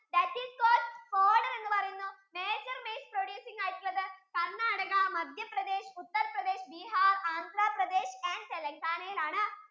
that is എന്ന് പറയുന്നു major maize producing ആയിട്ടുള്ളത് കര്ണാടക മദ്ധ്യ പ്രദേശ് ഉത്തർ പ്രദേശ് ബീഹാര് ആന്ധ്ര പ്രദേശ് and തെലൻഘാന യിൽ ആണ്